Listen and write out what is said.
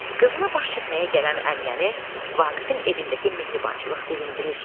Qızına baş çəkməyə gələn Əminəni Vaqifin evindəki mehribançılıq sevindirir.